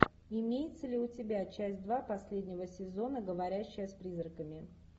имеется ли у тебя часть два последнего сезона говорящая с призраками